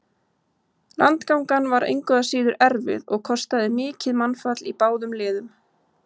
Landgangan var engu að síður erfið og kostaði mikið mannfall í báðum liðum.